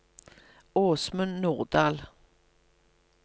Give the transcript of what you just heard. Åsmund Nordahl